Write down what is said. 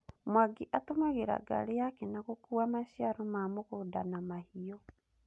Mwangi atũmagĩra ngari yake na gũkua maciaro ma mũgũnda na mahiũ.